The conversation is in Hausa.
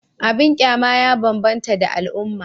Abin kyama ya bambanta da al'umma